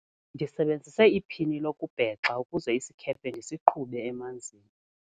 Ndisebenzise iphini lokubhexa ukuze isikhephe ndisiqhube emanzini.